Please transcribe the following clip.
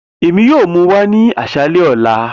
Emi yoo mu wa ni aṣalẹ ọla